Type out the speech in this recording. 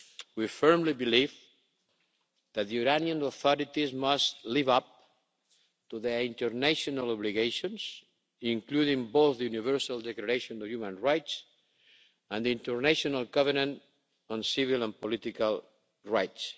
We firmly believe that the Iranian authorities must live up to their international obligations, including both the Universal Declaration of Human Rights and the International Covenant on Civil and Political Rights.